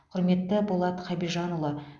құрметті болат хабижанұлы